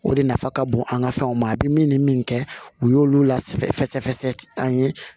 O de nafa ka bon an ka fɛnw ma a bɛ min ni min kɛ u y'olu lasɛfɛsɛ an ye